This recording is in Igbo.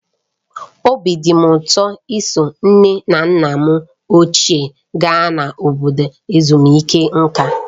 Obi dị m ụtọ iso nne na nna m ochie gaa na obodo ezumike nka.